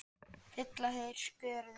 Fylla þeir skörðin?